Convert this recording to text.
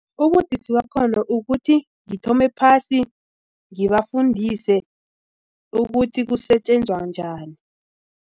Ubudisi bakhona ukuthi ngithome phasi ngibafundise ukuthi kusetjenzwa njani.